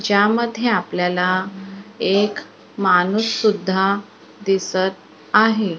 ज्यामध्ये आपल्याला एक माणूससुद्धा दिसत आहे.